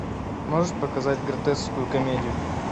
можешь показать гротескную комедию